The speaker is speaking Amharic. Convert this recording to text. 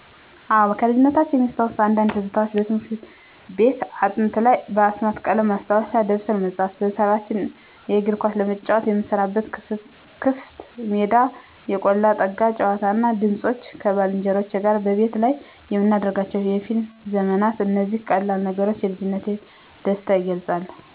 አዎ፣ ከልጅነቴ የሚታወሱ አንዳንድ ትዝታዎች - በትምህርት ቤት አጥንቶ ላይ በአስማት ቀለም ማስታወሻ ደብተር መጻፍ። በሰፈራችን እግር ኳስ ለመጫወት የምንሰበሰብበት ክፍት ሜዳ። የ"ቆላ ጠጋ" ጨዋታ እና ድምፆች። ከባልንጀሮቼ ጋር በቤት ላይ የምናደርጋቸው የፊልም ዘመናት። እነዚህ ቀላል ነገሮች የልጅነቴን ደስታ ይገልጻሉ።